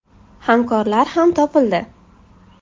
Hamkorlar ham topildi.